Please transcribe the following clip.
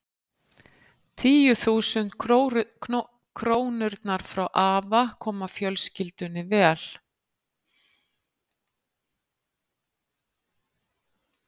Tíu þúsund krónurnar frá afa koma fjölskyldunni vel.